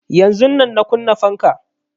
Yanzun nan na kunna fanka